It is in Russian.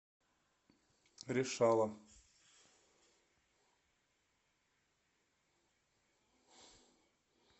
решала